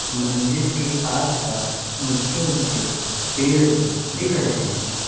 मंदिर के आस पास ऊंचे-ऊंचे पेड़ भी दिख रहे हैं।